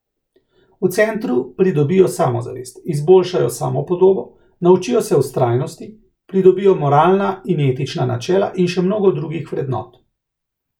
V Centru pridobijo samozavest, izboljšajo samopodobo, naučijo se vztrajnosti, pridobijo moralna in etična načela in še mnogo drugih vrednot.